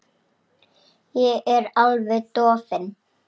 Ég er alveg dofin.